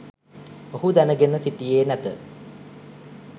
ඔහු දැනගෙන සිටියේ නැත